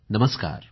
नमस्कार